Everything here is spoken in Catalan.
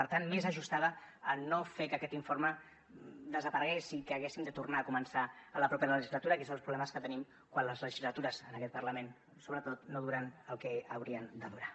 per tant més ajustada a no fer que aquest informe desaparegués i que haguéssim de tornar a començar la propera legislatura que és un dels problemes que tenim quan les legislatures en aquest parlament sobretot no duren el que haurien de durar